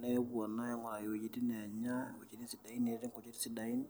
,nepuo naa ainguraki wuejitin naanya, wuejitin sidain neetii nkujit sidain